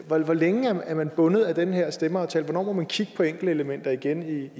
hvor længe er man bundet af den her stemmeaftale og hvornår må man kigge på enkeltelementer igen